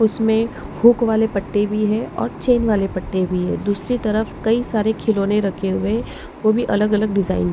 उसमें हुक वाले पट्टे भी है और चैन वाले पट्टे भी है दूसरी तरफ कई सारे खिलौने रखे हुए है वो भी अलग अलग डिजाइन --